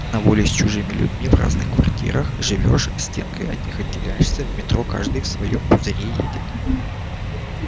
на воле с чужими людьми в разных квартирах живёшь стенкой от них отделяешься в метро каждый в своём пузыре едет